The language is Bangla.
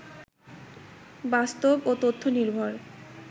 বাস্তব ও তথ্য নির্ভর